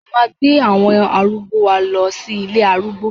Mo máa gbé àwọn arúgbó wa lọ sí ilé arúgbó